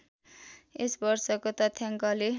यस वर्षको तथ्याङ्कले